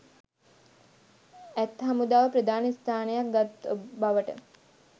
ඇත් හමුදාව ප්‍රධාන ස්ථානයක් ගත් බවට